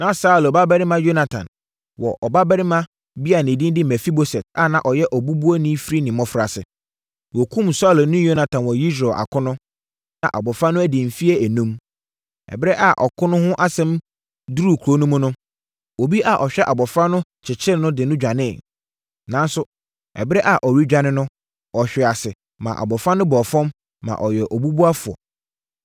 Na Saulo babarima Yonatan wɔ ɔbabarima bi a ne din de Mefiboset a na ɔyɛ obubuafoɔ firi ne mmɔfraase. Wɔkumm Saulo ne Yonatan wɔ Yesreel akono no, na abɔfra no adi mfeɛ enum. Ɛberɛ a ɔko no ho asɛm duruu kuro no mu no, obi a ɔhwɛ abɔfra no kyekyeree no de no dwaneeɛ. Nanso, ɛberɛ a ɔredwane no, ɔhwee ase maa abɔfra no bɔɔ fam, ma ɔyɛɛ obubuafoɔ.